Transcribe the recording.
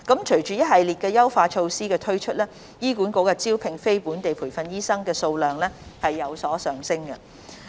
隨着一系列優化措施的推出，醫管局招聘非本地培訓醫生的數量有所上升。